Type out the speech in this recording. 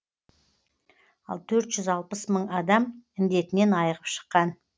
ал төрт жүз алпыс мың адам індетінен айығып шыққан